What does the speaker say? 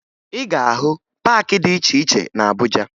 Ị ga-ahụ paakị dị iche iche na Abuja